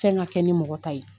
Fɛn ka kɛ ni mɔgɔ ta ye.